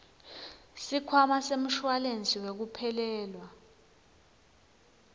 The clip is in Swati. sikhwama semshuwalensi wekuphelelwa